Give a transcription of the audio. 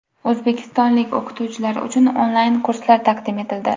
O‘zbekistonlik o‘qituvchilar uchun onlayn kurslar taqdim etildi.